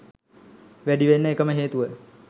වැඩි වෙන්න එකම හේතුව.